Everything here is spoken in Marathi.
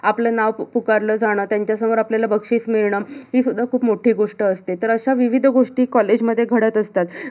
आपल नाव पु~पुकारल जाण त्यांच्या समोर आपल्याला बक्षीस मिळण ही सुद्धा खूप मोठी गोष्ट असते, तर अशा विविध गोष्टी college मध्ये घडत असतात.